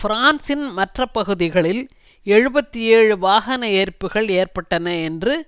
பிரான்சின் மற்ற பகுதிகளில் எழுபத்தி ஏழு வாகன எரிப்புக்கள் ஏற்பட்டன என்று